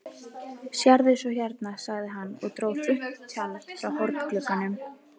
Sérðu svo hérna, sagði hann og dró þunnt tjald frá hornglugganum.